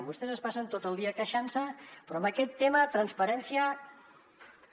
vostès es passen tot el dia queixant se però en aquest tema de transparència no n’hi ha